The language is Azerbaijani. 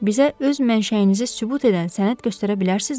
Bizə öz mənşəyinizi sübut edən sənət göstərə bilərsinizmi?